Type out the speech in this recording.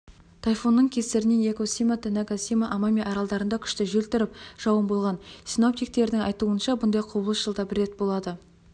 тайфунның кесірінен якусима танэгасима амами аралдарында күшті жел тұрып жауын болған синоптиктердің айтуынша мұндай құбылыс жылда бір рет болады